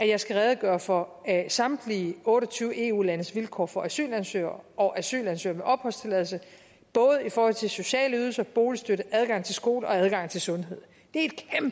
jeg skal redegøre for samtlige otte og tyve eu landes vilkår for asylansøgere og asylansøgere opholdstilladelse både i forhold til sociale ydelser boligstøtte adgang til skole og adgang til sundhed